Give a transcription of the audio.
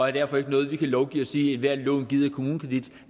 er derfor ikke noget vi kan lovgive at sige at ethvert lån ydet af kommunekredit